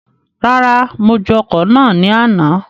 Rárá, mo ju ọ̀kọ̀ náà ní àna